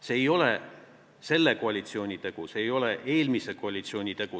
See ei ole selle koalitsiooni tegu, see ei ole eelmise koalitsiooni tegu.